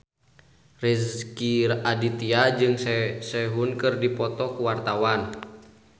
Rezky Aditya jeung Sehun keur dipoto ku wartawan